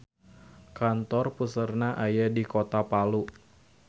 Kantor puseurna aya di kota Palu.